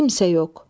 Kimsə yox.